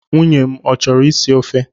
Nwunye m ọ chọrọ isi ofe?